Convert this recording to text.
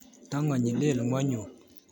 Tongonyi konyek, lel ngwonyut